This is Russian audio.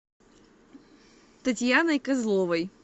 татьяной козловой